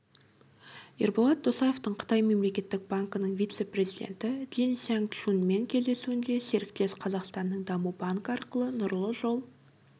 ерболат досаевтың қытай мемлекеттік банкінің вице-президенті дин сянгчунмен кездесуінде серіктес қазақстанның даму банкі арқылы нұрлы жол